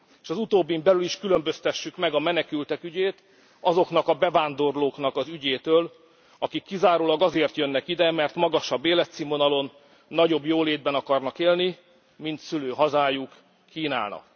S az utóbbin belül is különböztessük meg a menekültek ügyét azoknak a bevándorlóknak az ügyétől, akik kizárólag azért jönnek ide, mert magasabb életszínvonalon, nagyobb jólétben akarnak élni, mint szülőhazájuk kínálna.